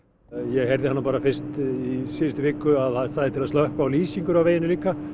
ég heyrði það nú bara fyrst í síðustu viku að það stæði til að slökkva á lýsingunni á veginum líka